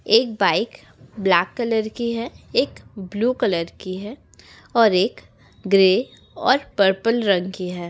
एक bike black colour की है एक ब्लू कलर की है और एक ग्रे और पर्पल रंग की है ।